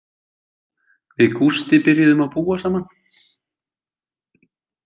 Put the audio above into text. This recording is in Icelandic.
Við Gústi byrjuðum að búa saman.